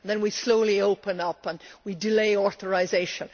then, we slowly open up and delay authorisation.